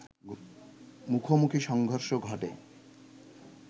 মুখোমুখি সংঘর্ষ ঘটে